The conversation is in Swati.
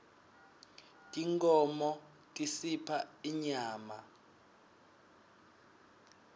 tinkhmo tisipha inyama